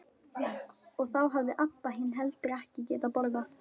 Og þá hafði Abba hin heldur ekki getað borðað.